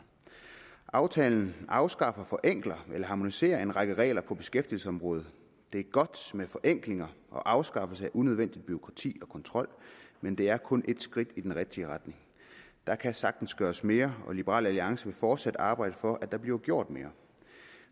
aftale der afskaffer forenkler og harmoniserer en række regler på beskæftigelsesområdet det er godt med forenklinger og afskaffelse af unødvendigt bureaukrati og kontrol men det er kun ét skridt i den rigtige retning der kan sagtens gøres mere og liberal alliance vil fortsat arbejde for at der bliver gjort mere